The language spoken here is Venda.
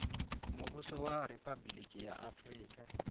muvhuso wa riphabuliki ya afurika